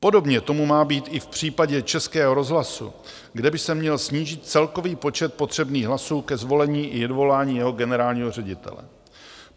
Podobně tomu má být i v případě Českého rozhlasu, kde by se měl snížit celkový počet potřebných hlasů ke zvolení i odvolání jeho generálního ředitele.